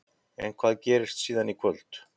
En hvað gerist síðan í kvöld?